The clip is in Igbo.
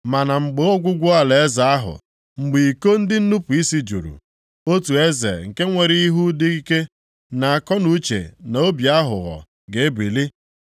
“Ma na mgbe ọgwụgwụ alaeze ahụ, mgbe iko ndị nnupu isi juru, otu eze nke nwere ihu dị ike, na akọnuche na obi aghụghọ ga-ebili.